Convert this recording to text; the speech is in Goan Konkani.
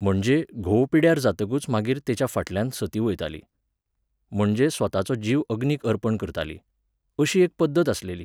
म्हणजे, घोव पिड्ड्यार जातकूच मागीर तेच्या फाटल्यान सती वयताली. म्हणजे स्वताचो जीव अग्नीक अर्पण करताली. अशी एक पद्दत आसलेली.